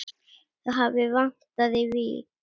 Það hafi vantað í Vík.